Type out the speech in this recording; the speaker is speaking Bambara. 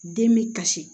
Den bɛ kasi